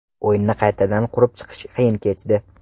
O‘yinni qaytadan qurib chiqish qiyin kechdi.